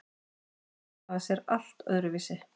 Vatn hagar sé allt öðru vísi.